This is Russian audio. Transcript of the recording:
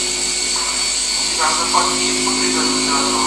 у тебя в запасе есть погребенный заживо